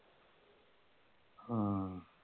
ਹੂੰ